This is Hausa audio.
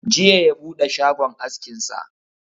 Jiya ya buɗe shagon askin sa